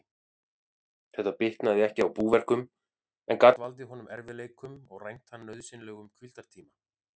Þetta bitnaði ekki á búverkum, en gat valdið honum erfiðleikum og rænt hann nauðsynlegum hvíldartíma.